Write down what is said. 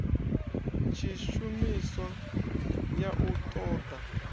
tshishumiswa ya u ṱo ḓa